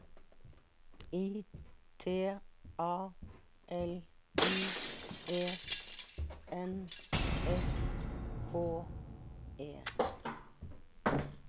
I T A L I E N S K E